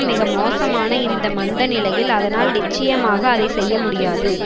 மிக மோசமான இந்த மந்தநிலையில் அதனால் நிச்சயமாக அதை செய்ய முடியாது